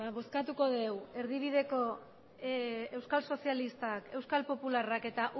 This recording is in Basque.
bozkatuko dugu erdibideko euskal sozialistak euskal popularrak eta